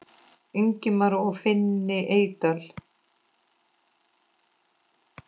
Ingimar og Finni Eydal.